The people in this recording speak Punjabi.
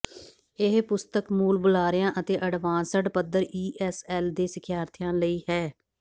ਇਹ ਪੁਸਤਕ ਮੂਲ ਬੁਲਾਰਿਆਂ ਅਤੇ ਅਡਵਾਂਸਡ ਪੱਧਰ ਈ ਐੱਸ ਐਲ ਦੇ ਸਿਖਿਆਰਥੀਆਂ ਲਈ ਹੈ